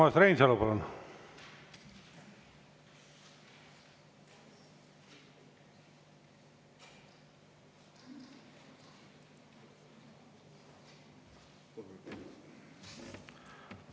Urmas Reinsalu, palun!